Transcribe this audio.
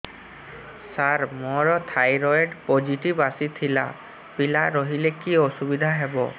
ସାର ମୋର thyroid positive ଆସିଥିଲା ପିଲା ରହିଲେ କି ଅସୁବିଧା ହେବ